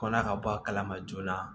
Kɔna ka bɔ a kala ma joona